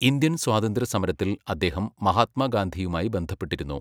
Indian സ്വാതന്ത്ര്യ സമരത്തിൽ അദ്ദേഹം മഹാത്മാഗാന്ധിയുമായി ബന്ധപ്പെട്ടിരുന്നു.